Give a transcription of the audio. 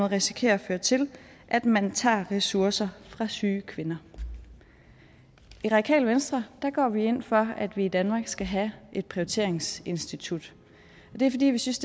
risikerer at føre til at man tager ressourcer fra syge kvinder i radikale venstre går vi ind for at vi i danmark skal have et prioriteringsinstitut og det er fordi vi synes